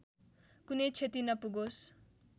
कुनै क्षति नपुगोस्